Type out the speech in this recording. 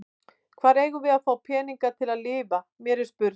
Hvar eigum við að fá peninga til að lifa, mér er spurn.